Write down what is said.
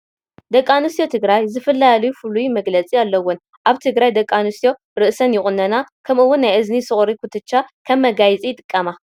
ደቂ ኣንስትዮ ትግራይ ዝፍለያሉ ፍሉይ መግለፂ ኣለዎን፡፡ ኣብ ትግራይ ደቂ ኣንስትዮ ርእሰን ይቑነና ከምኡውን ናይ እዝኒ ሶቒርን ኩትቻን ከም መጋየፂ ይጥቀማ፡፡